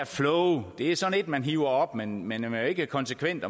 flow er sådan man hiver op men man er jo ikke konsekvent